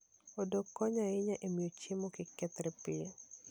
Odok konyo ahinya e miyo chiemo kik kethre piyo.